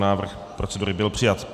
Návrh procedury byl přijat.